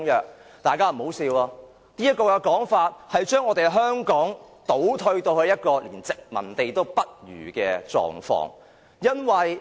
請大家不要發笑，這說法其實便是把香港倒退到一個連殖民地也不如的狀況。